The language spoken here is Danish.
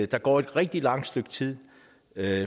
der går et rigtig langt stykke tid